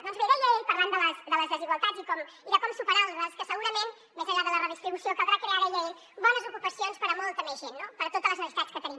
doncs bé deia ell parlant de les desigualtats i de com superar les que segurament més enllà de la redistribució caldrà crear deia ell bones ocupacions per a molta més gent no per totes les necessitats que tenim